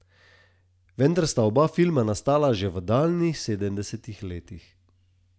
Vendar sta oba filma nastala že v daljnih sedemdesetih letih.